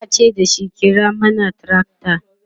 yace dashi"kira mana tracta!"